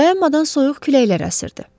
Dayanmadan soyuq küləklər əsirdi.